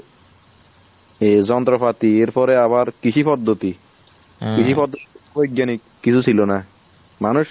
এ যন্ত্রপাতি এর পরে আবার কৃষি পদ্ধতি কৃষি পদ্ধতি বৈজ্ঞানিক কিছু ছিল না। মানুষ